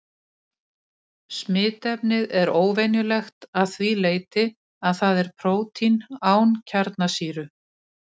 Smitefnið er óvenjulegt að því leyti að það er prótín án kjarnasýru.